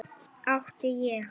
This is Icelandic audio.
Átti ég.